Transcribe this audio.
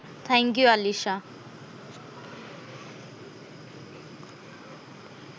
thank you Alisha